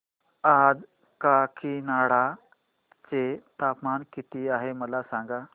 आज काकीनाडा चे तापमान किती आहे मला सांगा